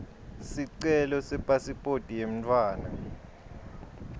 sicelo sepasiphoti yemntfwana